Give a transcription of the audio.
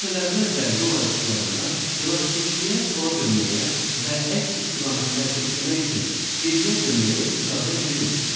Küçələrdə və yol ayrıclarında velosipedçiyə sola dönməyə və əks istiqamətdə hərəkət etmək üçün geriyə dönməyə icazə verilmir.